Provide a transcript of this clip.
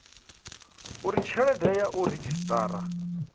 uri tshelede ya u redzhisiṱara